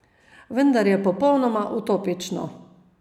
Vendar je popolnoma utopično.